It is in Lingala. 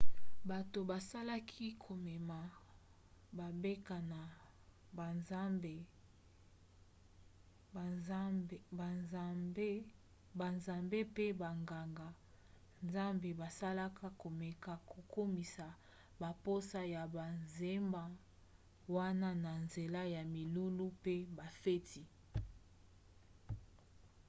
bato bazalaki komema bambeka na banzambe mpe banganga-nzambe bazalaka komeka kokomisa bamposa ya banzema wana na nzela ya milulu mpe bafeti